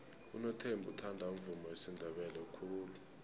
unothembi uthanda umvumo wesindebele khulu